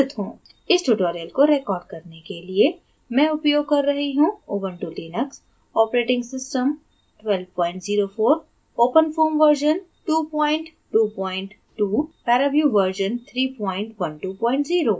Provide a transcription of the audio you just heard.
इस tutorial को record करने के लिए मैं उपयोग कर रही हूँ: Ubuntu Linux operating system 1204 openfoam version 222 paraview version 3120